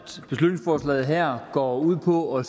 at beslutningsforslaget her går ud på at